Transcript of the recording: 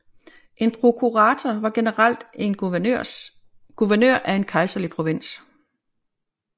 En prokurator var generelt en guvernør af en kejserlig provins